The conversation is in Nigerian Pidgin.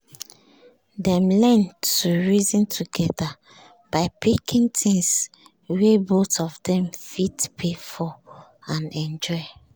dem learn to reason together by picking things wey both of dem fit pay for and enjoy